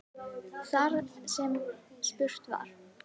Þar sem spurt var